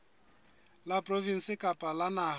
la provinse kapa la naha